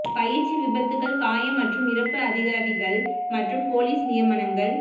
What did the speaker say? பயிற்சி விபத்துக்கள் காயம் மற்றும் இறப்பு அதிகாரிகள் மற்றும் பொலிஸ் நியமனங்கள்